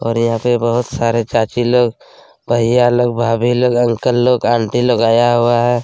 और यहाँ पर बहुत सारे चाची लोग भैया लोग भाभी लोग अंकल लोग आंटी लोग आया हुआ है ।